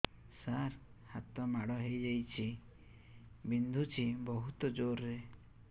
ସାର ହାତ ମାଡ଼ ହେଇଯାଇଛି ବିନ୍ଧୁଛି ବହୁତ ଜୋରରେ